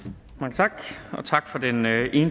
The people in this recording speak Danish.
tak